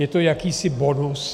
Je to jakýsi bonus.